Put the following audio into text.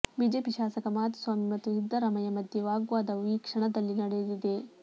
BJP ಶಾಸಕ ಮಾಧುಸ್ವಾಮಿ ಮತ್ತು ಸಿದ್ದರಾಮಯ್ಯ ಮಧ್ಯೆ ವಾಗ್ವಾದವೂ ಈ ಕ್ಷಣದಲ್ಲಿ ನಡೆದಿದೆ